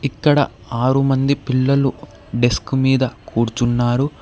ఇక్కడ ఆరు మంది పిల్లలు డెస్క్ మీద కూర్చున్నారు.